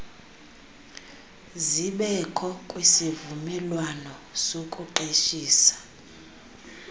zibekho kwisivumelwano sokuqeshisa